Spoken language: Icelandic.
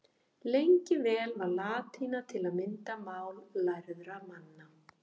Lengi vel var latína til að mynda mál lærðra manna.